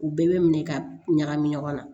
U bɛɛ bɛ minɛ ka ɲagami ɲɔgɔn na